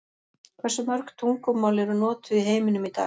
Hversu mörg tungumál eru notuð í heiminum í dag?